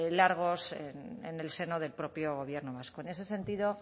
largos en el seno del propio gobierno vasco en ese sentido